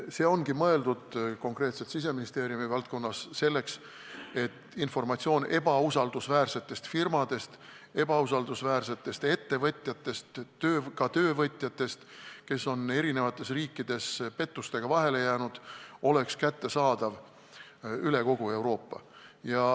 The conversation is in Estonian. See ongi mõeldud konkreetselt Siseministeeriumi valdkonnas selleks, et informatsioon ebausaldusväärsete firmade, ebausaldusväärsete ettevõtjate, ka töövõtjate kohta, kes on eri riikides pettusega vahele jäänud, oleks kättesaadav üle kogu Euroopa.